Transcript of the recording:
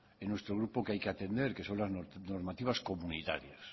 en nuestro grupo que hay que atender que son las normativas comunitarias